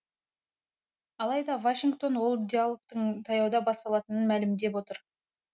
алайда вашингтон ол диалогтың таяуда басталатынын мәлімдеп отыр